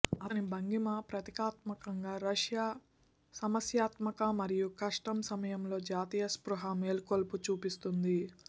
అతని భంగిమ ప్రతీకాత్మకంగా రష్యా సమస్యాత్మక మరియు కష్టం సమయంలో జాతీయ స్పృహ మేల్కొలుపు చూపిస్తుంది